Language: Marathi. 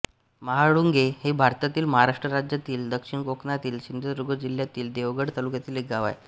महाळुंगे हे भारतातील महाराष्ट्र राज्यातील दक्षिण कोकणातील सिंधुदुर्ग जिल्ह्यातील देवगड तालुक्यातील एक गाव आहे